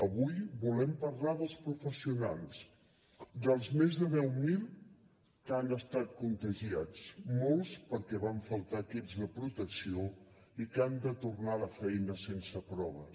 avui volem parlar dels professionals dels més de deu mil que han estat contagiats molts perquè van faltar equips de protecció i que han de tornar a la feina sense proves